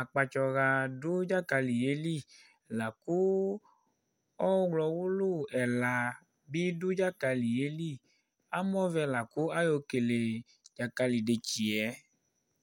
Akpatsɔwa du dzakali yɛli Laku ɔwulu ɛla bi du dzakali yɛli Amɔvɛ la ayɔkele dzakali yɛ